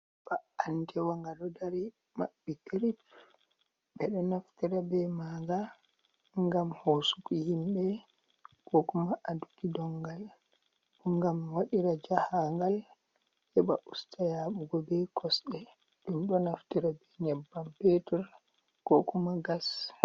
Ba'atewa nga ɗo dari maɓɓi kirip. Ɓeɗo naftira be maanga ngam hosugo himɓe, ko kuma aduki dongal, ngam wadira jahagal heɓa usta yahugo be kosɗe. Ɗum ɗo naftira be nyebbam petur ko kuma gas.